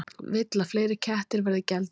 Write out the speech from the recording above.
Vill að fleiri kettir verði geldir